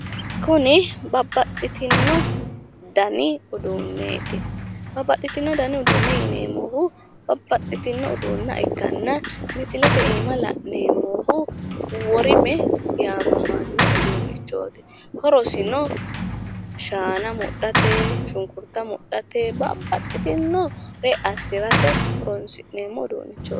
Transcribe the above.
kuni babbaxxitino dani uduuneeti. babbaxxitino danni uduune yineemohu babbaxxitino uduunee ikkanna misilete aana la'neemohu worime yaamamano uduunichooti horosino shaana mudhate shunkurta mudhate babaxxinore assirate horonsi'neemmo uduunichooti.